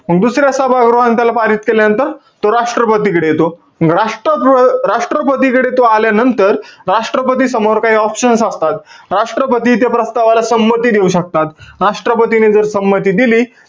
दुसऱ्या सभागृहाने त्याला पारित केल्यानंतर तो राष्ट्रपतीकडे येतो. राष्ट्रप्र~ राष्ट्रपतीकडे तो आल्यांनतर, राष्ट्रपती समोर काही option असतात. राष्ट्रपती ते प्रस्तावाला संमती देऊ शकतात. राष्ट्रपतीने जर संमती दिली,